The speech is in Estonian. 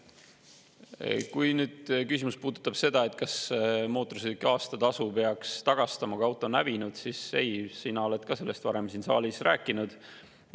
Kui sa pead oma küsimusega silmas seda, kas mootorsõiduki aastatasu peaks tagastama, kui auto on hävinud, siis ei, sina oled sellest ka varem siin saalis rääkinud.